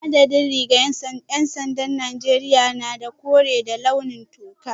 A da dai rigar ‘yan sandan Najeriya tana da kore da launin toka